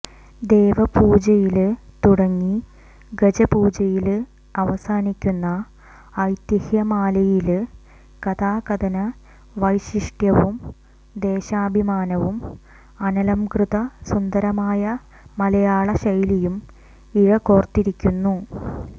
ദേവപൂജയില് തുടങ്ങി ഗജപൂജയില് അവസാനിക്കുന്ന ഐതിഹ്യമാലയില് കഥാകഥന വൈശിഷ്ട്യവും ദേശാഭിമാനവും അനലംകൃത സുന്ദരമായ മലയാള ശൈലിയും ഇഴകോര്ത്തിരിക്കുന്നു